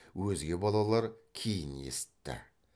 өзге балалар кейін есітті